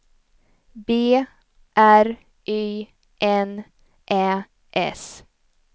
B R Y N Ä S